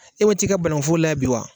E wot'i ka banaŋufo la bi wa?